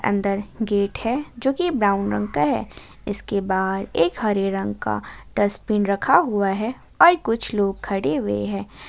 अंदर गेट है जो कि ब्राउन रंग का है इसके बाहर एक हरे रंग का डसबिन रखा हुआ है और कुछ लोग खड़े हुए हैं।